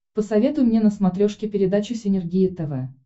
посоветуй мне на смотрешке передачу синергия тв